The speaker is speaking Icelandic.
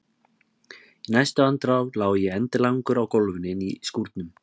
Í næstu andrá lá ég endilangur á gólfinu inni í skúrnum!